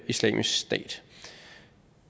islamisk stat